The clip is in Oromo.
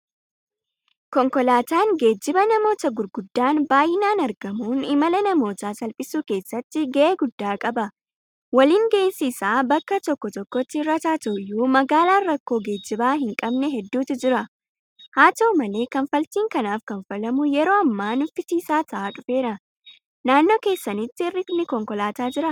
Konkolaataan geejiba namootaa gurguddaan baay'inaan argamuun imala namootaa salphisuu keessatti gahee guddaa qaba. Waliin gahinsi isaa bakka tokko tokkotti hir'ataa ta'uyyuu; Magaalaan rakkoo geejibaa hinqabne hedduutu jira. Haata'u malee kanfaltiin kanaaf kanfalamu yeroo ammaa nuffisiisaa ta'aa dhufeera. Naannoo keessanitti hir'inni konkolaataa jiraa?